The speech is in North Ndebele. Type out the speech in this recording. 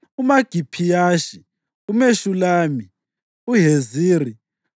uMagiphiyashi, uMeshulami, uHeziri,